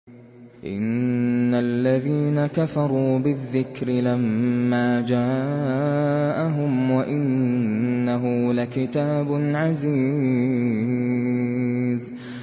إِنَّ الَّذِينَ كَفَرُوا بِالذِّكْرِ لَمَّا جَاءَهُمْ ۖ وَإِنَّهُ لَكِتَابٌ عَزِيزٌ